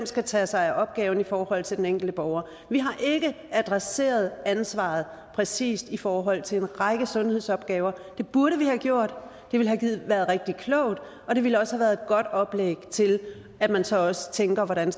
skal tage sig af opgaven i forhold til den enkelte borger vi har ikke adresseret ansvaret præcist i forhold til en række sundhedsopgaver det burde vi have gjort det ville have været rigtig klogt og det ville også have været et godt oplæg til at man så også tænker hvordan